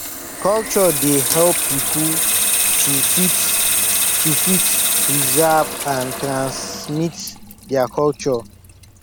culture dey help pipo to fit to fit preserve and transmit their culture